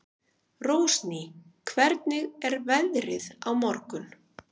Rósný, hvernig er veðrið á morgun?